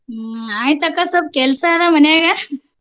ಹ್ಮ ಆಯ್ತ ಅಕ್ಕ ಸ್ವಪ ಕೆಲ್ಸಾ ಅದ ಮನ್ಯಾಗ.